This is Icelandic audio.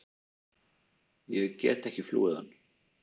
Ég get ekki flúið hann.